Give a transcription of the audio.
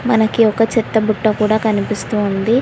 మనకి ఒక చెత్త బుట్ట కూడా కనిపిస్తోంది.